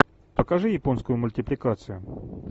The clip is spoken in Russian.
покажи японскую мультипликацию